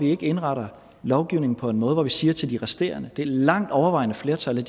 ikke at indrette lovgivningen på en måde hvor vi siger til de resterende det langt overvejende flertal